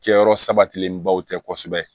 Kɛyɔrɔ sabatilenbaw tɛ kosɛbɛ